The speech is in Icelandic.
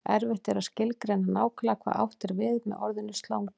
erfitt er að skilgreina nákvæmlega hvað átt er við með orðinu slangur